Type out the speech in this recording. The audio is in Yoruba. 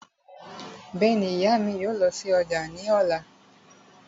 Bẹ́ẹ̀ni, ìyá mi yóò lọ sí ọjà ní ọ̀la